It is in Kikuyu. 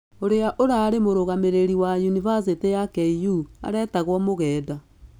ũrĩa ũrarĩ mũrũgamĩrĩri wa unibacitĩ ya KU aretagwo Mugenda.